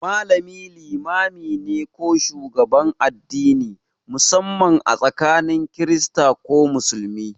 Malami limami ne ko shugaban addini, musamman a tsakanin Kirista ko Musulmi.